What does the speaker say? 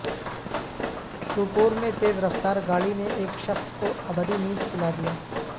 سوپور میں تیز رفتار گاڑی نے ایک شخص کو ابدی نیند سلادیا